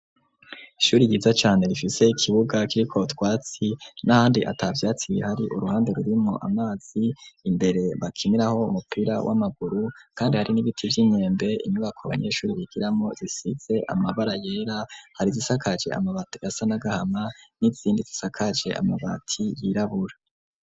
Ishuri yiza cane rifise ikibuga kirik'utwatsi n'ahandi ata vyatsi bihari uruhande rurimwo amazi imbere bakimiraho umupira w'amaguru kandi hari n'ibiti vy'inkembe inyubako abanyeshuri bigiramwo zisitse amabara yera har'izisakaje amabati asa n'agahama n'izindi zisakaje amabati yirabura.